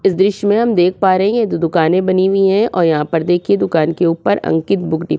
इस दृश्य में हम देख पा रहे हैं ये दो दुकाने बनी हुई हैं और यहाँ पर देखिये दुकान के ऊपर अंकित बुक डिपो --